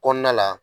Kɔnɔna la